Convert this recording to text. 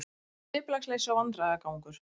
Skipulagsleysi og vandræðagangur